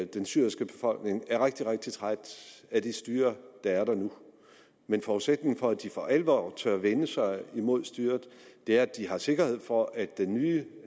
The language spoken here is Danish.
den syriske befolkning er rigtig rigtig træt af det styre der er der nu men forudsætningen for at de for alvor tør vende sig imod styret er at de har sikkerhed for at de nye